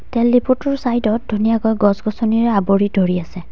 তেল ডিপুটোৰ চাইড ত ধুনীয়াকৈ গছ-গছনিৰে আৱৰি ধৰি আছে।